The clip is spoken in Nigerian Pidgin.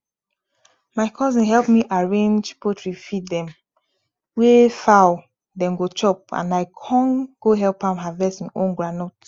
my cousin help me arrange poultry feed dem wey fowl den go chop and i con go help am harvest e own groundnut